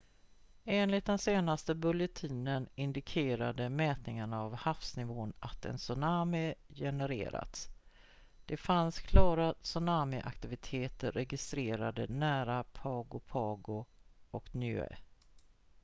enligt den senaste bulletinen indikerade mätningar av havsnivån att en tsunami genererats det fanns klara tsunami-aktiviteter registrerade nära pago pago och niue